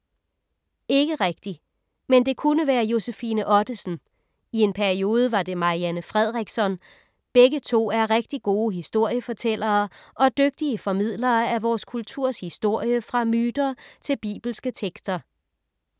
Ikke rigtig. Men det kunne være Josefine Ottesen. I en periode var det Marianne Fredriksson. Begge to er rigtig gode historiefortællere og dygtige formidlere af vores kulturs historie fra myter til bibelske tekster.